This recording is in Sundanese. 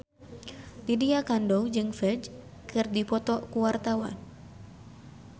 Lydia Kandou jeung Ferdge keur dipoto ku wartawan